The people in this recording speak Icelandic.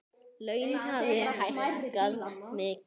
Laun hafi hækkað mikið.